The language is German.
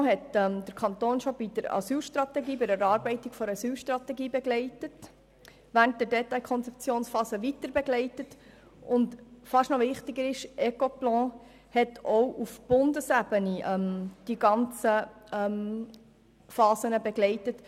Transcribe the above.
Ecoplan hat den Kanton bereits bei der Erarbeitung der Asylstrategie begleitet, während der Detailkonzeptionsphase weiterbegleitet und – fast noch wichtiger – auch auf Bundesebene die gesamten Phasen begleitet.